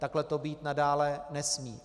Takhle to být nadále nesmí.